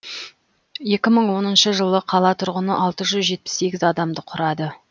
екі мың оныншы жылы қала тұрғыны алты жүз жетпіс сегіз адамды құрады